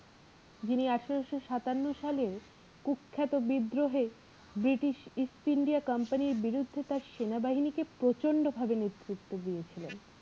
যিনি আঠারোশো সাতান্ন সালে কুখ্যাত বিদ্রোহে british east India comapny র বিরুদ্ধে তার সেনাবাহিনীকে প্রচন্ড ভাবে নেতৃত্ব দিয়েছিলেন।